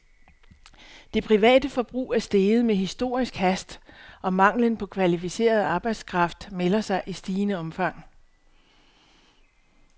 Det private forbrug er steget med historisk hast, og manglen på kvalificeret arbejdskraft melder sig i stigende omfang.